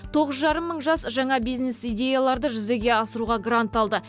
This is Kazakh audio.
тоғыз жарым мың жас жаңа бизнес идеяларды жүзеге асыруға грант алды